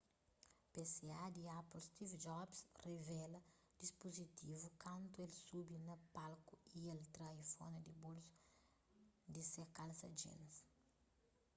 pca di apple steve jobs rivela dispuzitivu kantu el subi na palku y el tra iphone di bolsu di se kalsa jeans